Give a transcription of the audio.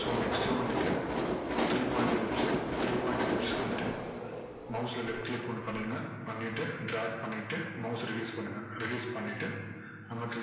so next வந்துட்டு three point ellipse சு three point ellipse க்கு வந்துட்டு mouse ல left click hold பண்ணீருங்க பண்ணிட்டு drag பண்ணிட்டு mouse அ release பண்ணுங்க release பண்ணிட்டு நமக்கு